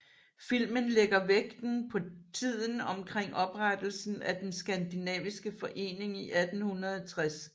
Filmen lægger vægten på tiden omkring oprettelsen af den skandinaviske forening i 1860